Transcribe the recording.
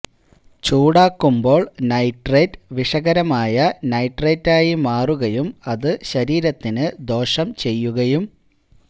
ചൂടാക്കുമ്ബോള് nitrate വിഷകരമായ നൈട്രൈറ്റായി മാറുകയും അത് ശരീരത്തിന് ദോഷം ചെയ്യുകയും